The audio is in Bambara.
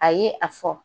A ye a fɔ